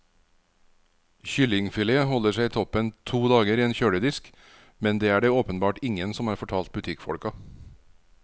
Kyllingfilet holder seg toppen to dager i en kjøledisk, men det er det åpenbart ingen som har fortalt butikkfolka.